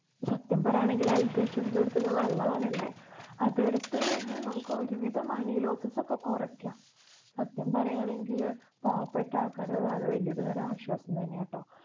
സത്യം പറയുകയാണെങ്കില്‍ health insurance എടുക്കുന്നത് നല്ലതാണല്ലേ. അത് എടുത്തു കഴിഞ്ഞാല്‍ നമുക്ക് ഒരു വിധം money losses ഒക്കെ കുറയ്ക്ക്കാം. സത്യം പറയുകയാണെങ്കില് പാവപ്പെട്ട ആള്‍ക്കാര്‍ക്കൊക്കെ അത് വല്യൊരു തരം ആശ്വാസം തന്നെയാട്ടോ.